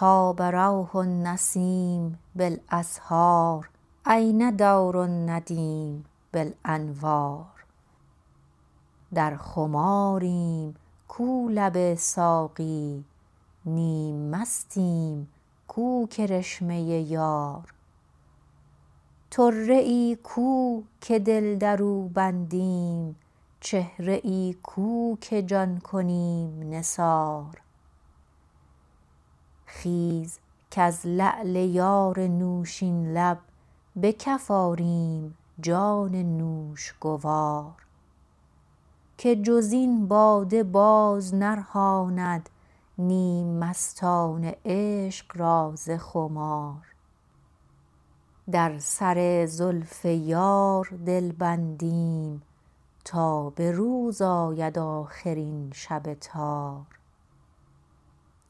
طاب روح النسیم بالأسحار أین دور الندیم بالأنوار در خماریم کو لب ساقی نیم مستیم کو کرشمه یار طره ای کو که دل درو بندیم چهره ای کو که جان کنیم نثار خیز کز لعل یار نوشین لب به کف آریم جان نوش گوار که جزین باده بار نرهاند نیم مستان عشق را ز خمار در سر زلف یار دل بندیم تا به روز آید آخر این شب تار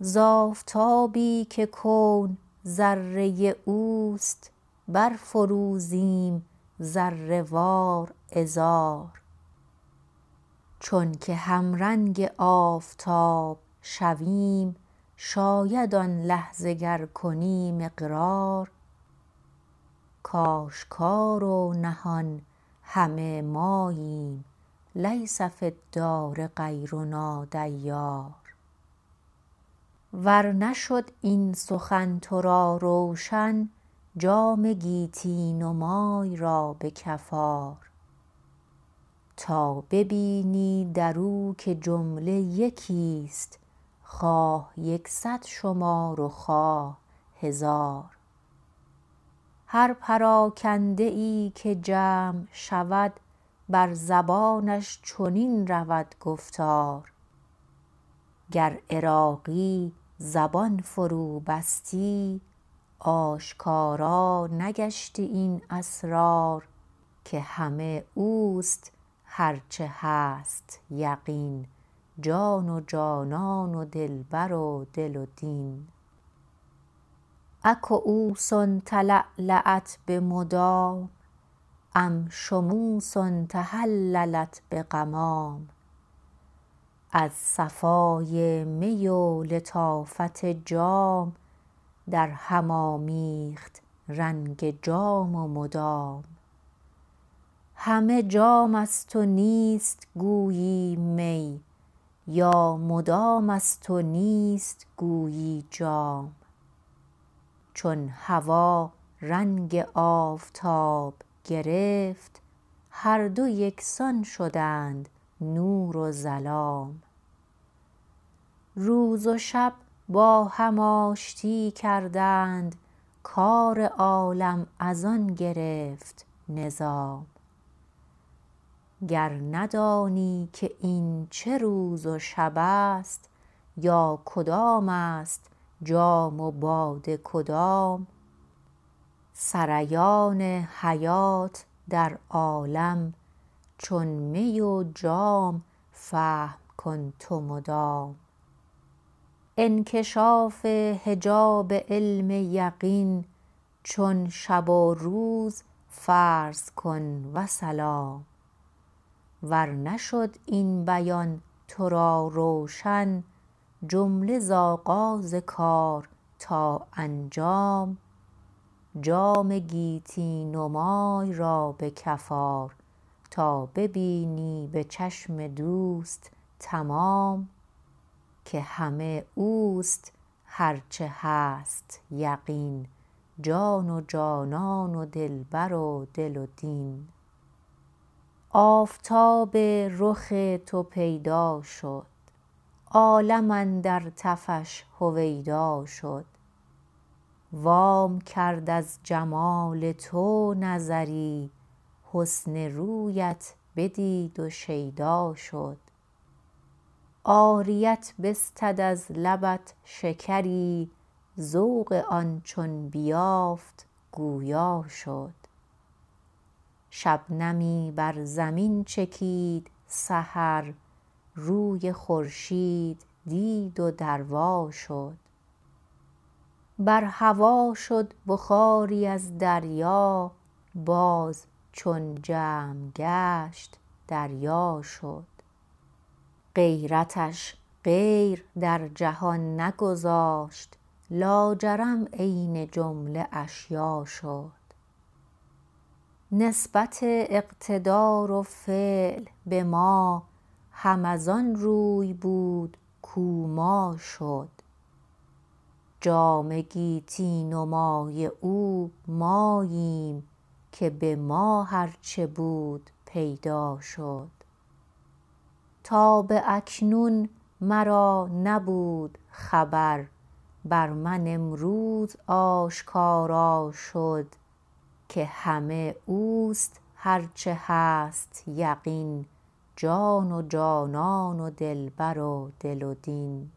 ز آفتابی که کون ذره اوست بر فروزیم ذره وار عذار چون که همرنگ آفتاب شویم شاید آن لحظه گر کنیم اقرار کاشکار و نهان همه ماییم لیس فی الدار غیرنا دیار ور نشد این سخن تو را روشن جام گیتی نمای را به کف آر تا ببینی درو که جمله یکی است خواه یکصد شمار و خواه هزار هر پراگنده ای که جمع شود بر زبانش چنین رود گفتار گر عراقی زبان فرو بستی آشکارا نگشتی این اسرار که همه اوست هر چه هست یقین جان و جانان و دلبر و دل و دین أ کیوس تلألأت بمدام أم شموس تهللت بغمام از صفای می و لطافت جام در هم آمیخت رنگ جام و مدام همه جام است و نیست گویی می یا مدام است و نیست گویی جام چون هوا رنگ آفتاب گرفت هر دو یکسان شدند نور و ظلام روز و شب با هم آشتی کردند کار عالم از آن گرفت نظام گر ندانی که این چه روز و شب است یا کدام است جام و باده کدام سریان حیات در عالم چون می و جام فهم کن تو مدام انکشاف حجاب علم یقین چون شب و روز فرض کن وسلام ور نشد این بیان تو را روشن جمله ز آغاز کار تا انجام جام گیتی نمای را به کف آر تا ببینی به چشم دوست مدام که همه اوست هر چه هست یقین جان و جانان و دلبر و دل و دین آفتاب رخ تو پیدا شد عالم اندر تفش هویدا شد وام کرد از جمال تو نظری حسن رویت بدید و شیدا شد عاریت بستد از لبت شکری ذوق آن چون بیافت گویا شد شبنمی بر زمین چکید سحر روی خورشید دید و دروا شد بر هوا شد بخاری از دریا باز چون جمع گشت دریا شد غیرتش غیر در جهان نگذاشت لاجرم عین جمله اشیا شد نسبت اقتدار و فعل به ما هم از آن روی بود کو ما شد جام گیتی نمای او ماییم که به ما هرچه بود پیدا شد تا به اکنون مرا نبود خبر بر من امروز آشکارا شد که همه اوست هر چه هست یقین جان و جانان و دلبر و دل و دین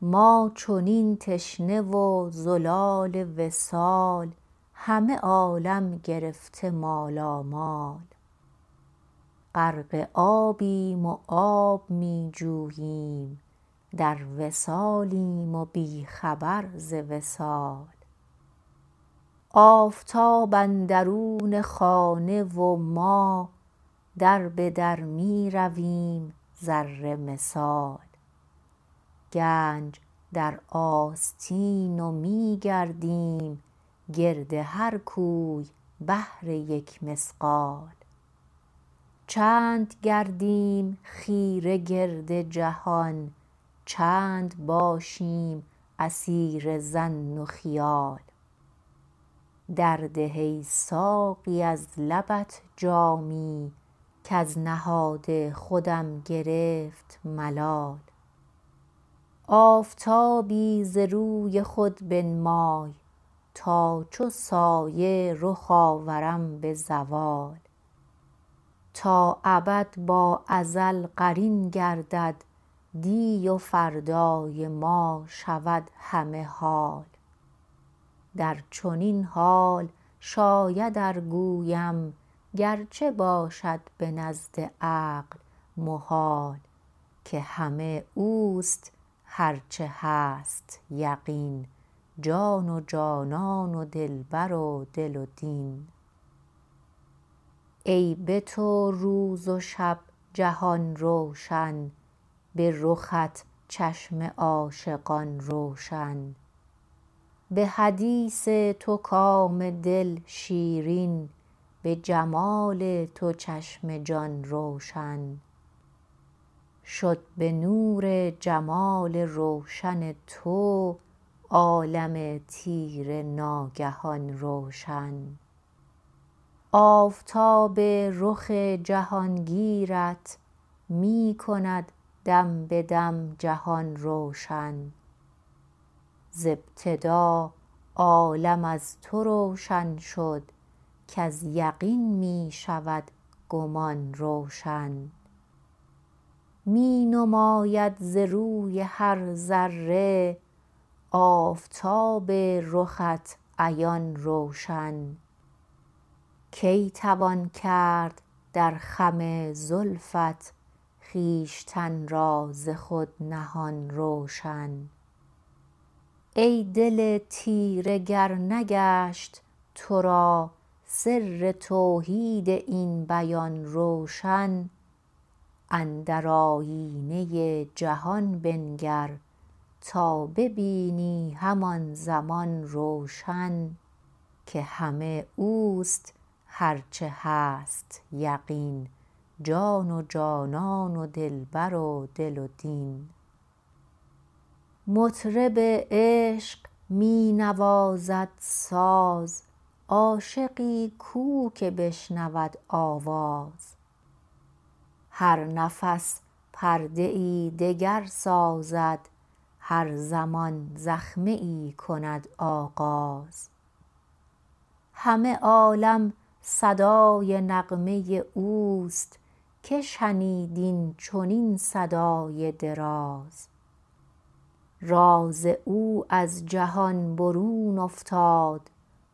ما چنین تشنه و زلال وصال همه عالم گرفته مالامال غرق آبیم و آب می جوییم در وصالیم و بی خبر ز وصال آفتاب اندرون خانه و ما در بدر می رویم ذره مثال گنج در آستین و می گردیم گرد هر کوی بهر یک مثقال چند گردیم خیره گرد جهان چند باشیم اسیر ظن و خیال در ده ای ساقی از لبت جامی کز نهاد خودم گرفت ملال آفتابی ز روی خود بنمای تا چو سایه رخ آورم به زوال تا ابد با ازل قرین گردد دی و فردای ما شود همه حال در چنین حال شاید ار گویم گرچه باشد به نزد عقل محال که همه اوست هر چه هست یقین جان و جانان و دلبر و دل و دین ای به تو روز و شب جهان روشن بی رخت چشم عاشقان روشن به حدیث تو کام دل شیرین به جمال تو چشم جان روشن شد به نور جمال روشن تو عالم تیره ناگهان روشن آفتاب رخ جهانگیرت می کند دم به دم جهان روشن ز ابتدا عالم از تو روشن شد کز یقین می شود گمان روشن می نماید ز روی هر ذره آفتاب رخت عیان روشن کی توان کرد در خم زلفت خویشتن را ز خود نهان روشن ای دل تیره گر نگشت تو را سر توحید این بیان روشن اندر آیینه جهان بنگر تا ببینی همان زمان روشن که همه اوست هر چه هست یقین جان و جانان و دلبر و دل و دین مطرب عشق می نوازد ساز عاشقی کو که بشنود آواز هر نفس پرده ای دگر ساز هر زمان زخمه ای کند آغاز همه عالم صدای نغمه اوست که شنید این چنین صدای دراز راز او از جهان برون افتاد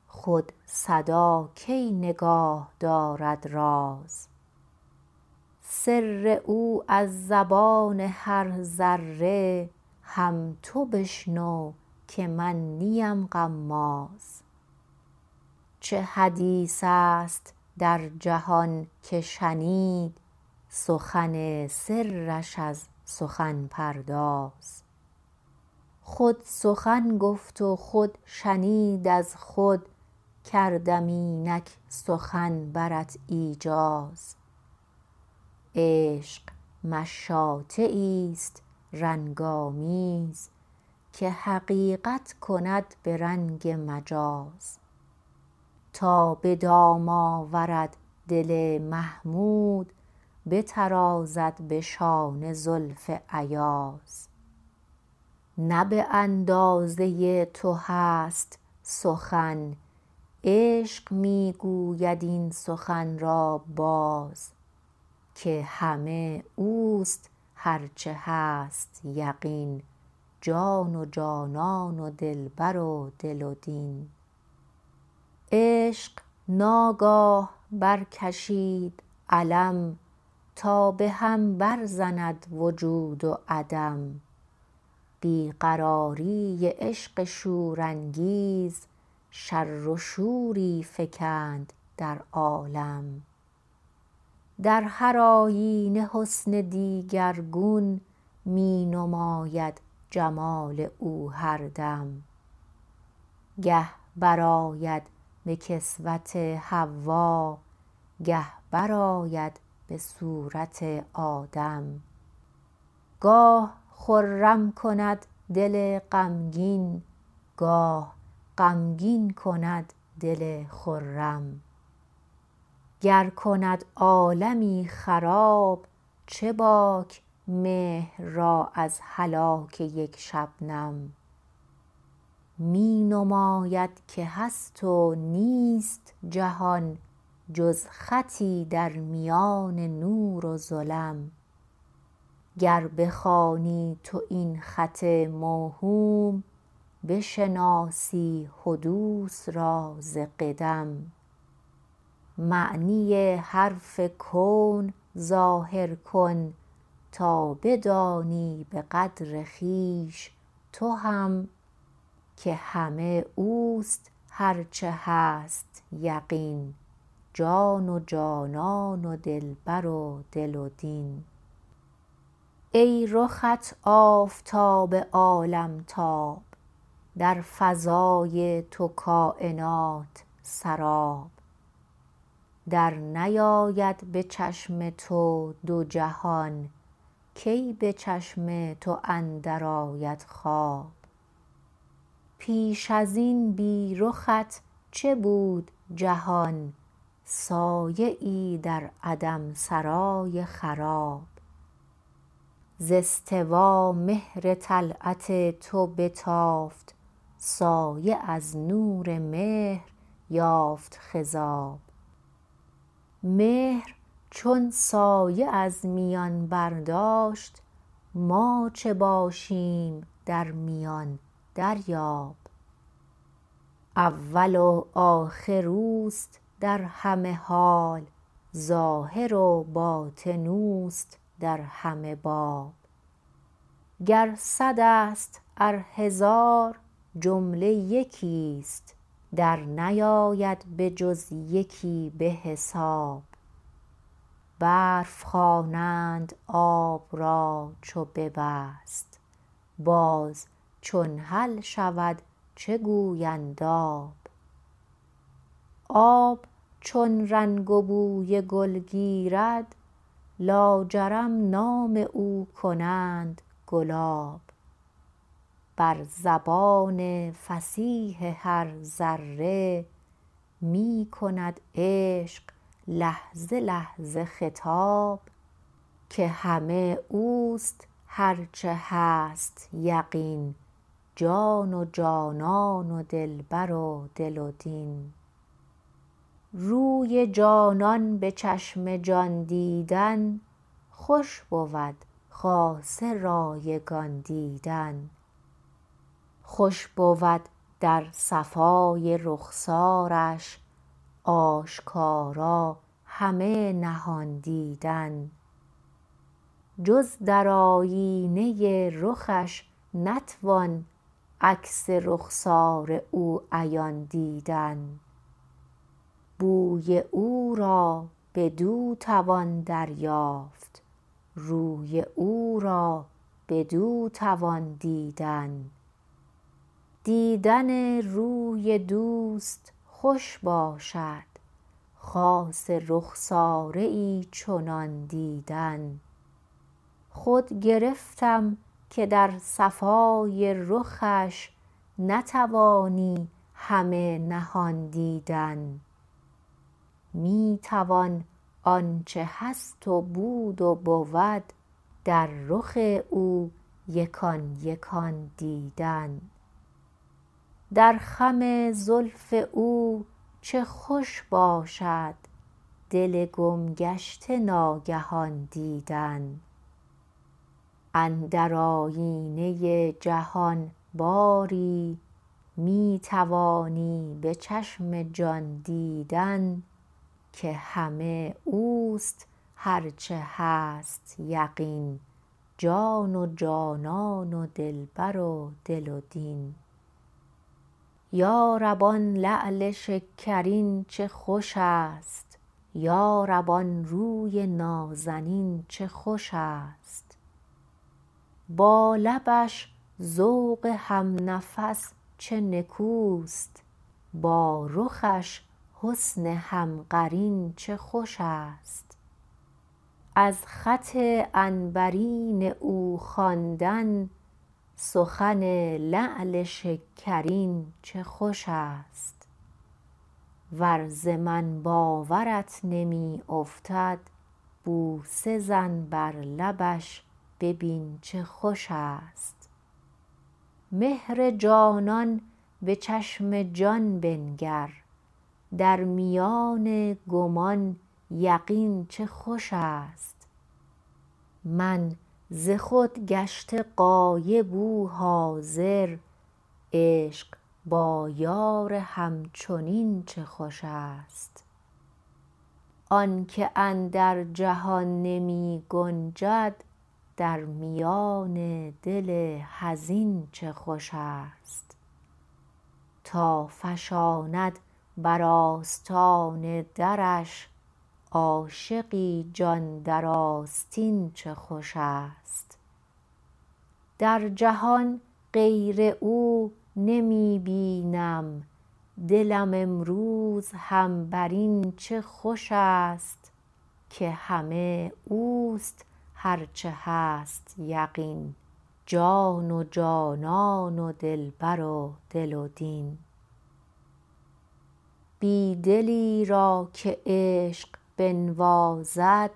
خود صدا کی نگاه دارد راز سر او از زبان هر ذره هم تو بشنو که من نیم غماز چه حدیث است در جهان که شنید سخن سرش از سخن پرداز خود سخن گفت و خود شنید از خود کردم اینک سخن برت ایجاز عشق مشاطه ای است رنگ آمیز که حقیقت کند به رنگ مجاز تا به دام آورد دل محمود بترازد به شانه زلف ایاز نه به اندازه تو هست سخن عشق می گوید این سخن را باز که همه اوست هر چه هست یقین جان و جانان و دلبر و دل و دین عشق ناگاه برکشید علم تا بهم بر زند وجود و عدم بی قراری عشق شورانگیز شر و شوری فکند در عالم در هر آیینه حسن دیگرگون می نماید جمال او هردم گه برآید به کسوت حوا گه برآید به صورت آدم گاه خرم کند دل غمگین گاه غمگین کند دل خرم گر کند عالمی خراب چه باک مهر را از هلاک یک شبنم می نماید که هست و نیست جهان جز خطی در میان نور و ظلم گر بخوانی تو این خط موهوم بشناسی حدوث را ز قدم معنی حرف کون ظاهر کن تا بدانی بقدر خویش تو هم که همه اوست هر چه هست یقین جان و جانان و دلبر و دل و دین ای رخت آفتاب عالمتاب در فضای تو کاینات سراب در نیاید به چشم تو دو جهان کی به چشم تو اندر آید خواب پیش ازین بی رخت چه بود جهان سایه ای در عدم سرای خراب ز استوا مهر طلعت تو بتافت سایه از نور مهر یافت خضاب مهر چون سایه از میان برداشت ما چه باشیم در میان دریاب اول و آخر اوست در همه حال ظاهر و باطن اوست در همه باب گر صد است ار هزار جمله یکی است در نیاید به جز یکی به حساب برف خوانند آب را چو ببست باز چون حل شود چه گویند آب آب چون رنگ و بوی گل گیرد لاجرم نام او کنند گلاب بر زبان فصیح هر ذره می کند عشق لحظه لحظه خطاب که همه اوست هر چه هست یقین جان و جانان و دلبر و دل و دین روی جانان به چشم جان دیدن خوش بود خاصه رایگان دیدن خوش بود در صفای رخسارش آشکارا همه نهان دیدن جز در آیینه رخش نتوان عکس رخسار او عیان دیدن بوی او را بدو توان دریافت روی او را بدو توان دیدن دیدن روی دوست خوش باشد خاصه رخساره ای چنان دیدن خود گرفتم که در صفای رخش نتوانی همه نهان دیدن می توان آنچه هست و بود و بود در رخ او یکان یکان دیدن در خم زلف او چه خوش باشد دل گم گشته ناگهان دیدن اندر آیینه جهان باری می توانی به چشم جان دیدن که همه اوست هر چه هست یقین جان و جانان و دلبر و دل و دین یارب آن لعل شکرین چه خوش است یارب آن روی نازنین چه خوش است با لبش ذوق هم نفس چه نکوست با رخش حسن هم قرین چه خوش است از خط عنبرین او خواندن سخن لعل شکرین چه خوش است ور ز من باورت نمی افتد بوسه زن بر لبش ببین چه خوش است مهر جانان به چشم جان بنگر در میان گمان یقین چه خوش است من ز خود گشته غایب او حاضر عشق با یار هم چنین چه خوش است آنکه اندر جهان نمی گنجد در میان دل حزین چه خوش است تا فشاند بر آستان درش عاشقی جان در آستین چه خوش است در جهان غیر او نمی بینم دلم امروز هم برین چه خوش است که همه اوست هر چه هست یقین جان و جانان و دلبر و دل و دین بی دلی را که عشق بنوازد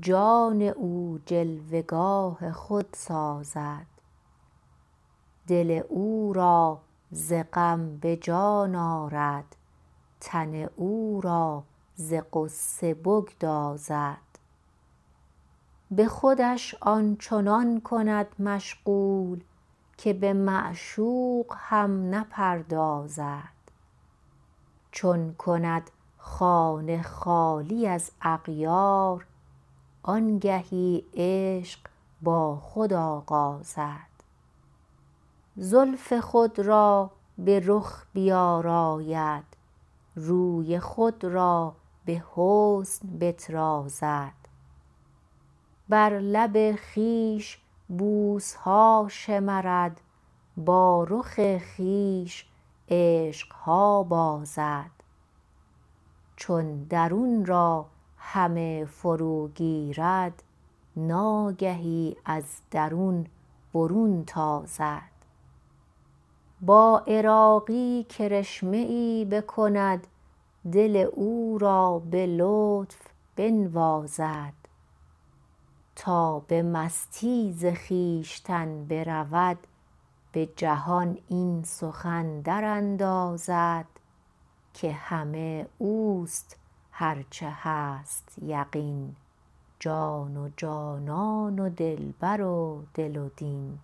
جان او جلوه گاه خود سازد دل او را ز غم به جان آرد تن او را ز غصه بگدازد به خودش آنچنان کند مشغول که به معشوق هم نپردازد چون کند خانه خالی از اغیار آن گهی عشق با خود آغازد زلف خود را به رخ بیاراید روی خود را به حسن بترازد بر لب خویش بوس ها شمرد با رخ خویش عشق ها بازد چون درون را همه فرو گیرد ناگهی از درون برون تازد با عراقی کرشمه ای بکند دل او را به لطف بنوازد تا به مستی ز خویشتن برود به جهان این سخن دراندازد که همه اوست هر چه هست یقین جان و جانان و دلبر و دل و دین